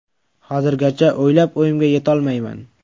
Hozirgacha o‘ylab o‘yimga yetolmayman.